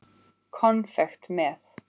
Konfekt með.